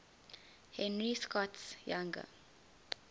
henry scott's younger